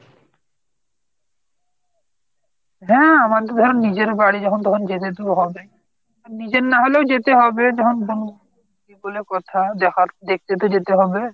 হ্যাঁ আমার তো যখন নিজের বাড়ি যখন তখন তো যেতে তো হবেই। নিজের না হলে ও যেতে হবেই যখন বন্ধুত্ব বলে কথা যখন দেখতে তো যেতে হবে।